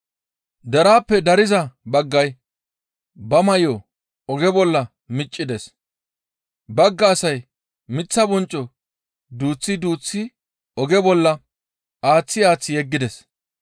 Deraappe dariza baggay ba may7o oge bolla miccides; bagga asay miththa boncco duuththi duuththi oge bolla aaththi aaththi yeggides.